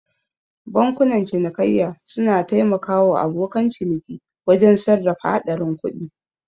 Bankunan cinikayya suna taimaka wa abokan ciniki wajen sarrafa haɗarin kuɗi.